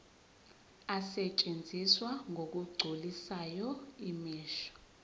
asetshenziswa ngokugculisayo imisho